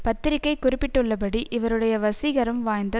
பத்திரிகை குறிப்பிட்டுள்ளபடி இவருடைய வசீகரம் வாய்ந்த